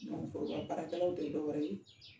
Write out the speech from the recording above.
baarakɛlaw tɛ dɔwɛrɛ ye.